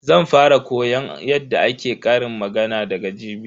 Zan fara koyon yadda ake ƙarin magana daga jibi.